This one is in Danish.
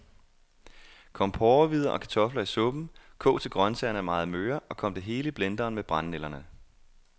Kom porrehvider og kartofler i suppen, kog til grøntsagerne er meget møre, og kom det hele i blenderen med brændenælderne.